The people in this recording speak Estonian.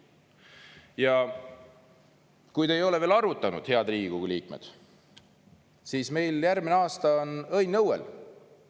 Ja kui te ei ole veel arvutanud, head Riigikogu liikmed, siis meil järgmine aasta on õnn õuel.